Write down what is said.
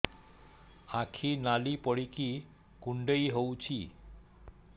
ଆଖି ନାଲି ପଡିକି କୁଣ୍ଡେଇ ହଉଛି